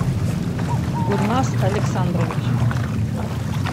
гульнас александрович